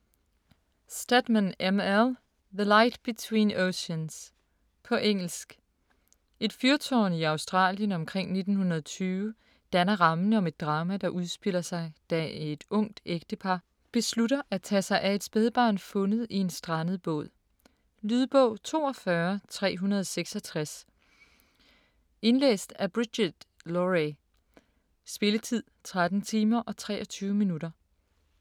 Stedman, M. L.: The light between oceans På engelsk. Et fyrtårn i Australien omkring 1920 danner rammen om et drama, der udspiller sig, da et ungt ægtepar beslutter at tage sig af et spædbarn fundet i en strandet båd. Lydbog 42366 Indlæst af Brigid Lohrey. Spilletid: 13 timer, 23 minutter.